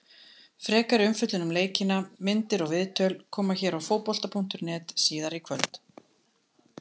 Frekari umfjöllun um leikina, myndir og viðtöl, koma hér á Fótbolta.net síðar í kvöld.